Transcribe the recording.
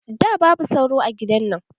Da, babu sauro a gidan nan